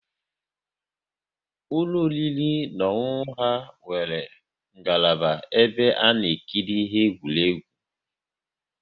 Ụlọ oriri na ọṅụṅụ ha nwere ngalaba ebe ana ekiri ihe eqwuregwu